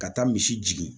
Ka taa misi jigin